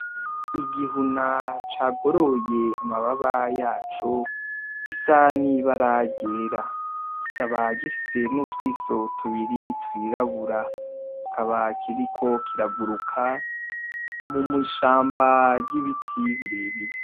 Igihuna cagoroye amababa yaco gisa n'ibara ryera , kikaba gifise n'utwiso tubiri twirabura , kikaba kiriko kiraguruka mw'ishamba ry'ibiti birebire.